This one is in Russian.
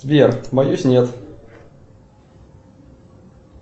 сбер боюсь нет